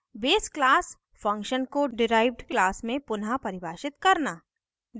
base class base class function को derived class में पुनः परिभाषित करना